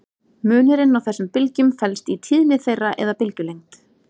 Munurinn á þessum bylgjum felst í tíðni þeirra eða bylgjulengd.